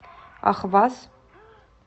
ахваз